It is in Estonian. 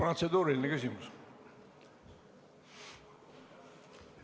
Protseduuriline küsimus.